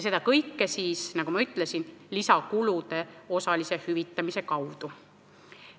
Seda kõike, nagu ma ütlesin, lisakulude osalise hüvitamise kaudu.